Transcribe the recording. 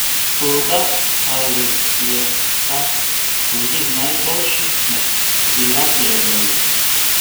Toda, ali je ta tudi najboljši med prijavljenimi?